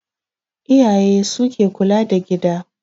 Iyaye su ke kula da gida